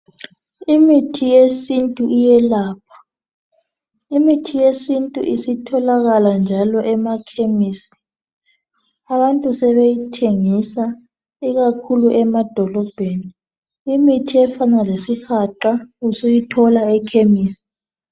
Imithi yesintu iyelapha imithi yesintu njalo isitholakala lasemakhemisi abantu sebeyithengisa ikakhulu emadolebheni imithi efana lesigaqa usuyithola ekhemisi